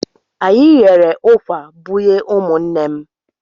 Anyị ghere ụkwà bunye ụmụnne m.